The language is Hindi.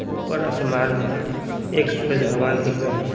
ऊपर आसमान है एक सूरज भगवान दिख रहे हैं।